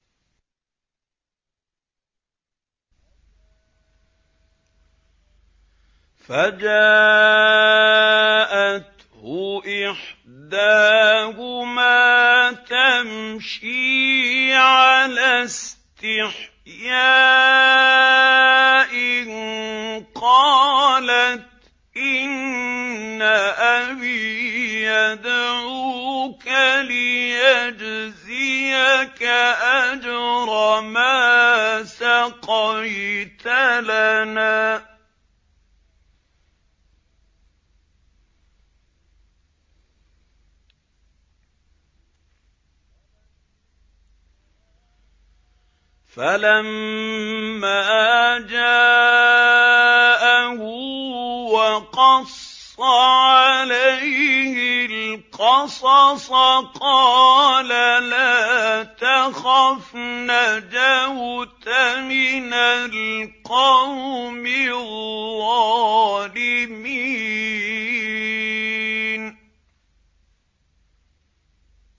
فَجَاءَتْهُ إِحْدَاهُمَا تَمْشِي عَلَى اسْتِحْيَاءٍ قَالَتْ إِنَّ أَبِي يَدْعُوكَ لِيَجْزِيَكَ أَجْرَ مَا سَقَيْتَ لَنَا ۚ فَلَمَّا جَاءَهُ وَقَصَّ عَلَيْهِ الْقَصَصَ قَالَ لَا تَخَفْ ۖ نَجَوْتَ مِنَ الْقَوْمِ الظَّالِمِينَ